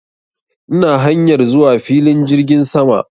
Ina hanyar zuwa filin jirgin sama